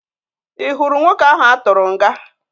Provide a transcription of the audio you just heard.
Ị hụrụ nwoke ahụ a tụrụ nga?